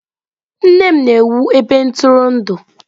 Nne m na-ewu ebe ntụrụndụ.